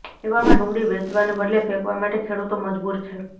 એવામાં ડુંગળી વેંચવાને બદલે ફેંકવા માટે ખેડુતો મજબૂર છે